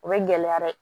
O bɛ gɛlɛya dɛ